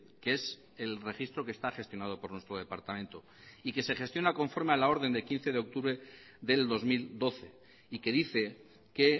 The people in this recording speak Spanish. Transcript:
que es el registro que está gestionado por nuestro departamento y que se gestiona conforme a la orden de quince de octubre del dos mil doce y que dice que